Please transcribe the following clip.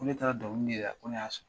Ko ne taara dɔnkili de da ko ne y'a sɔrɔ.